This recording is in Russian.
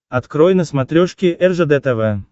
открой на смотрешке ржд тв